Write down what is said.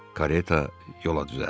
Kareta yola düzəldi.